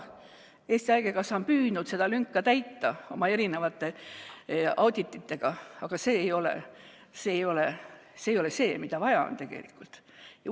Eesti Haigekassa on püüdnud seda lünka täita oma audititega, aga see ei ole see, mida on tegelikult vaja.